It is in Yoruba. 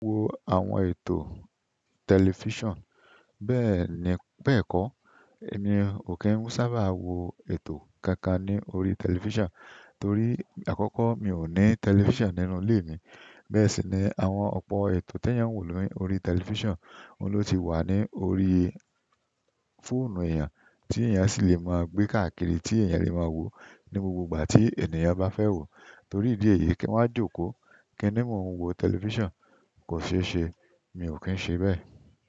Wo àwọn ètò tẹlifíṣàn bẹ́ẹ̀ni, bẹ́ẹ̀kọ́ mi ò kí ń sábà wo ètò kankan ní orí tẹlifíṣàn torí àkọ́kọ́ mi ò ní tẹlifíṣàn nínú ilé mi. Bẹ́ẹ̀ sì ni àwọn ọ̀pọ̀ ètò tí ẹ́nyàn ń wò lórí tẹlifíṣàn, òun ló ti wà ní orí fóònù èèyàn tí èèyàn sì lè máa gbé káàkiri tí èèyàn lè máa wò ní gbogbo ìgbà tí ènìyàn bá fẹ́ wò torí ìdí èyí kí wọ́n jókòó kí nímọ̀ wo tẹlifíṣàn kò ṣe é ṣe, mi ò kí ń ṣe bẹ́ẹ̀.